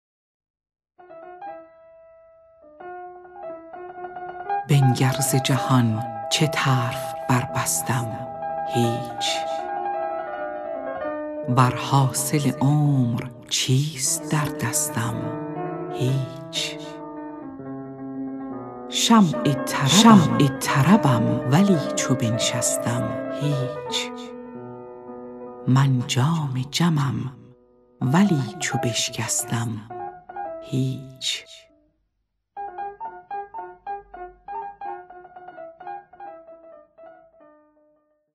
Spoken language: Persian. بنگر ز جهان چه طرف بربستم هیچ وز حاصل عمر چیست در دستم هیچ شمع طربم ولی چو بنشستم هیچ من جام جمم ولی چو بشکستم هیچ